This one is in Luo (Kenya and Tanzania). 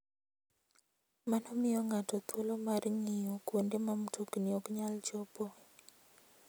Mano miyo ng'ato thuolo mar ng'iyo kuonde ma mtokni ok nyal chopoe.